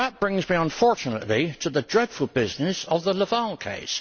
But that brings me unfortunately to the dreadful business of the Laval case.